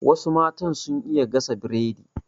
Wasu matan sun iya gasa Biredi